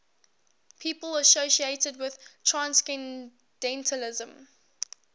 people associated with transcendentalism